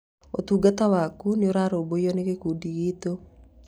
Ũtungata waku nĩ ũrarũmbũiywo nĩ gĩkundi gitũ.